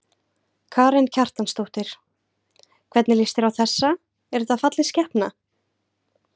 Karen Kjartansdóttir: Hvernig lýst þér á þessa, er þetta falleg skepna?